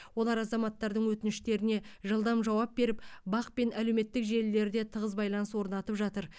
олар азаматтардың өтініштеріне жылдам жауап беріп бақ пен әлеуметтік желілерде тығыз байланыс орнатып жатыр